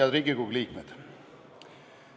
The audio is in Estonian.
Head Riigikogu liikmed!